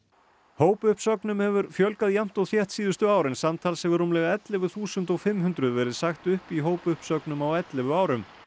hópuppsögnum hefur fjölgað jafnt og þétt síðustu ár en samtals hefur rúmlega ellefu þúsund fimm hundruð verið sagt upp í hópuppsögnum á ellefu árum